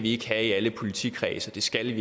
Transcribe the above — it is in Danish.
ikke have i alle politikredse det skal